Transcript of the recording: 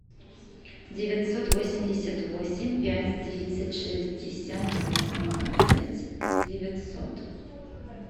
девятьсот восемьдесят восемь пять тридцать шестьдесят восемнадцать девятьсот